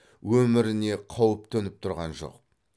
өміріне қауіп төніп тұрған жоқ